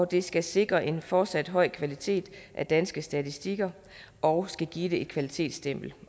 det skal sikre en fortsat høj kvalitet af danske statistikker og skal give dem et kvalitetsstempel